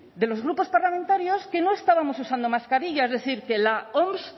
de los grupos parlamentarios que no estábamos usando mascarilla es decir que la oms